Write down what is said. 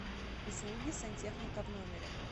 услуги сантехника в номере